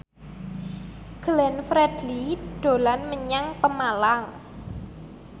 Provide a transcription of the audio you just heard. Glenn Fredly dolan menyang Pemalang